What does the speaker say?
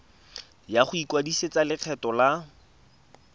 ya go ikwadisetsa lekgetho la